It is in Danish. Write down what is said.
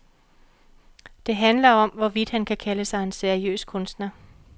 Det handler om, hvorvidt han kan kalde sig en seriøs kunstner.